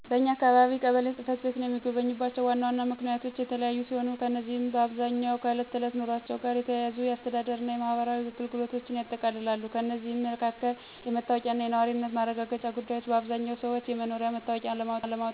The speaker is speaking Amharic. በኛ አካባቢ ቀበሌ ጽ/ቤትን የሚጎበኙባቸው ዋና ዋና ምክንያቶች የተለያዩ ሲሆኑ፣ እነዚህም በአብዛኛው ከዕለት ተዕለት ኑሯቸው ጋር የተያያዙ የአስተዳደር እና የማህበራዊ አገልግሎቶችን ያጠቃልላሉ። ከእነዚህም መካከል: * የመታወቂያ እና የነዋሪነት ማረጋገጫ ጉዳዮች: አብዛኛዎቹ ሰዎች የመኖሪያ መታወቂያ ለማውጣት፣ ለማደስ ወይም ለማስተካከል ቀበሌ ይሄዳሉ። በተጨማሪም፣ የነዋሪነት ማረጋገጫ ደብዳቤ ለተለያዩ ጉዳዮች (ለምሳሌ: ለትምህርት ቤት ምዝገባ፣ ለባንክ አገልግሎት፣ ለሥራ ማመልከቻ) ለማግኘት ቀበሌን ይጎበኛሉ። * የልደት፣ የጋብቻ እና የሞት ምዝገባ: አዲስ የተወለደ ልጅን ለማስመዝገብ፣ ጋብቻን ለማረጋገጥ ወይም የአንድን ሰው ሞት በይፋ ለማስመዝገብ የቀበሌ ጽ/ቤት ወሳኝ ነው። እነዚህንና ሌሎችን ለመጠየቅ ነዋሪዎች ቀበሌን ይጎበኛሉ።